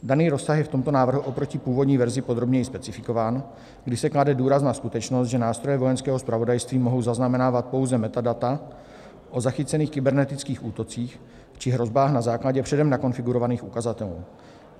Daný rozsah je v tomto návrhu oproti původní verzi podrobněji specifikován, kdy se klade důraz na skutečnost, že nástroje Vojenského zpravodajství mohou zaznamenávat pouze metadata o zachycených kybernetických útocích či hrozbách na základě předem nakonfigurovaných ukazatelů.